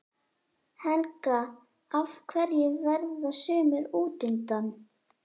Helga: Af hverju verða sumir útundan?